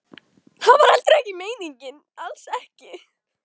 Það var heldur ekki meiningin, alls ekki.